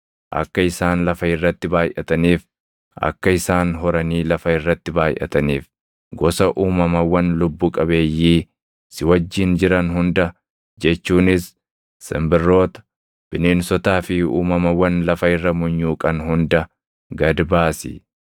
Akka isaan lafa irratti baayʼataniif, akka isaan horanii lafa irratti baayʼataniif, gosa uumamawwan lubbu qabeeyyii si wajjin jiran hunda jechuunis simbirroota, bineensotaa fi uumamawwan lafa irra munyuuqan hunda gad baasi.”